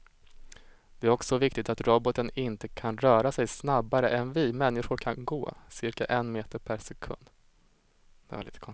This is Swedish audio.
Det är också viktigt att roboten inte kan röra sig snabbare än vi människor kan gå, cirka en meter per sekund.